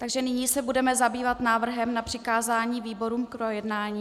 Takže nyní se budeme zabývat návrhem na přikázání výborům k projednání.